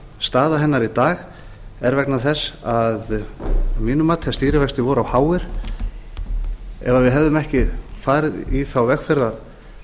staða hennar í dag er vegna þess að mínu mati að stýrivextir voru of háir ef við hefðum ekki farið í þá vegferð að